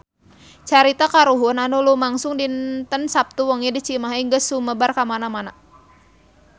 Carita kahuruan anu lumangsung dinten Saptu wengi di Cimahi geus sumebar kamana-mana